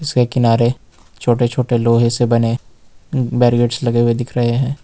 उसके किनारे छोटे छोटे लोहे से बने बैरियर्स लगे हुए दिख रहे हैं।